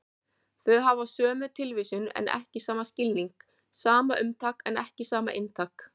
Þau hafa sömu tilvísun en ekki sama skilning, sama umtak en ekki sama inntak.